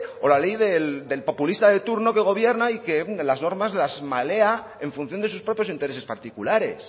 o la ley del populista de turno que gobierna y que es donde las normas las malea en función de sus propios intereses particulares